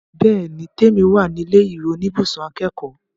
Bẹ́ẹ̀ni l, Tèmi wà ní ilé ìwé oníbùsùn akẹ́kọ̀ọ́